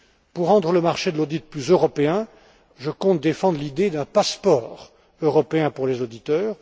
Pour rendre le marché de l'audit plus européen, je compte défendre l'idée d'un passeport européen pour les auditeurs.